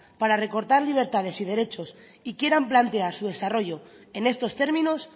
para recortar libertades y derechos y quieran plantear su desarrollo en estos términos